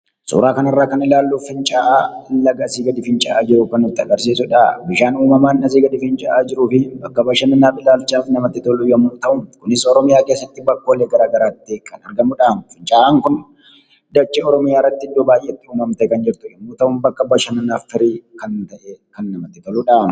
Suuraa kanarraa kan ilaallu fincaa'aa laga asii gadi fincaa'aa jiru kan nutti agarsiisudha. Bishaan uummamaan asii gadi fincaa'aa jiruufi bakka bashannanaaf ilaalchaaf namatti tolu yoo ta'u, kunis oromiyaa keessatti bakkoolee garagaraatti argamuun kan beekkamudhaa. Fincaa'aan kun dachee oromiyaarratti iddoo baayyeetti uummamtee kan jirtu yommuu ta'u, bakka bashananaaf firii kan ta'e kan namatti toludha.